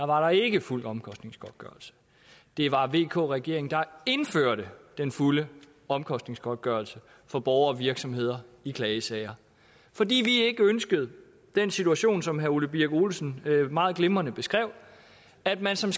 var der ikke fuld omkostningsgodtgørelse det var vk regeringen der indførte den fulde omkostningsgodtgørelse for borgere og virksomheder i klagesager fordi vi ikke ønskede den situation som herre ole birk olesen meget glimrende beskrev at man som